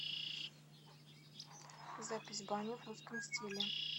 запись бани в русском стиле